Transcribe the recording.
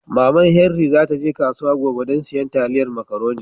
Maman Henri za ta je kasuwa gobe dan sayan taliyar makaroni